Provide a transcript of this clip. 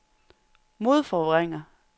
modforvrænger